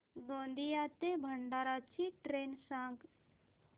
गोंदिया ते भंडारा ची ट्रेन सांग